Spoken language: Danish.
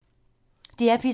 DR P2